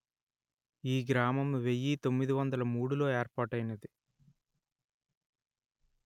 ఈ గ్రామం వెయ్యి తొమ్మిది వందలు మూడులో ఏర్పాటయినది